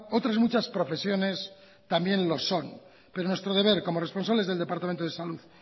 otras muchas profesiones también lo son pero nuestro deber como responsables del departamento de salud